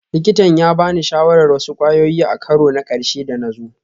Likitan ya ba ni shawarar wasu kwayoyi a karo na ƙarshe da na zo